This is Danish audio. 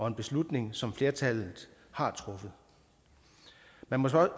en beslutning som flertallet har truffet man må